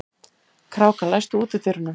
Kráka, læstu útidyrunum.